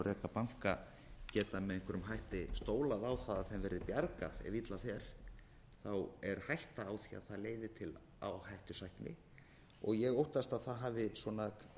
banka geta með einhverjum hætti stólað á á að þeim verði bjargað ef illa fer er hætta á því að það leiði til áhættusækni og ég óttast að það hafi svona hugsanlega verið